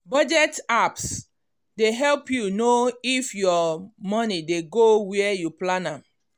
budget apps dey help you know if your money dey go where you plan am.